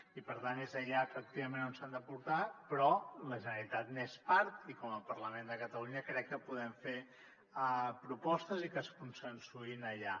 i per tant és allà efectivament on s’han de portar però la generalitat n’és part i com a parlament de catalunya crec que podem fer propostes i que es consensuïn allà